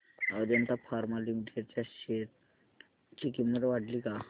Ajanta Pharma Limited च्या share ची किंमत वाढली का